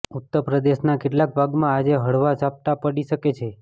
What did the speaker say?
ઉત્તર પ્રદેશના કેટલાક ભાગમાં આજે હળવાં ઝાપટાં પડી શકે છે